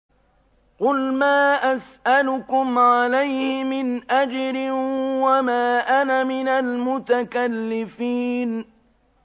قُلْ مَا أَسْأَلُكُمْ عَلَيْهِ مِنْ أَجْرٍ وَمَا أَنَا مِنَ الْمُتَكَلِّفِينَ